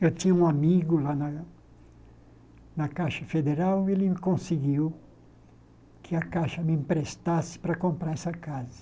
Eu tinha um amigo lá na na Caixa Federal e ele conseguiu que a Caixa me emprestasse para comprar essa casa.